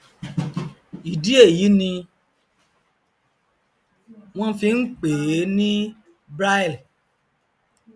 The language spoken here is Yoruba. ìdí èyí ni wọn fi npèé ní braille